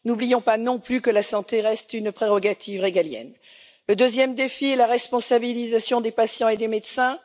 N'oublions pas non plus que la santé reste une prérogative régalienne. Le deuxième défi est la responsabilisation des patients et des médecins.